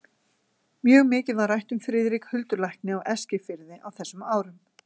Mjög mikið var rætt um Friðrik huldulækni á Eskifirði á þessum árum.